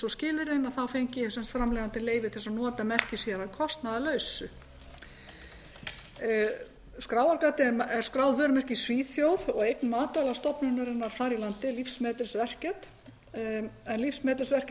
skilyrðin þá fengi framleiðandinn leyfi til að nota merkið sér að kostnaðarlausu skráargatið er skráð vörumerki í svíþjóð og eign matvælastofnunarinnar þar í landi livsmedels værket en það